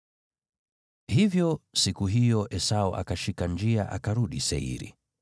Hivyo siku hiyo Esau akashika njia akarudi Seiri.